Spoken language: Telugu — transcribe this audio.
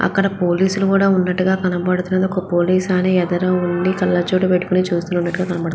అక్కడ పోలీసులు కూడా ఉన్నట్టుగా కనపడతుంది. ఒక పోలీస్ ఆయన ఎదర ఉండి కళ్ళజోడు పెట్టుకుని చూస్తునట్టుగా కనపడతుంది.